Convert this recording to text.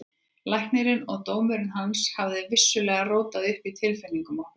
Læknirinn og dómur hans hafði vissulega rótað upp í tilfinningum okkar.